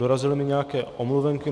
Dorazily mi nějaké omluvenky.